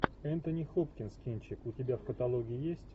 энтони хопкинс кинчик у тебя в каталоге есть